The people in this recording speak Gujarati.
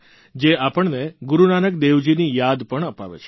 જે આપણને ગુરૂનાનક દેવજીની યાદ પણ અપાવે છે